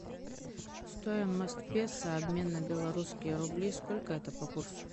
стоимость песо обмен на белорусские рубли сколько это по курсу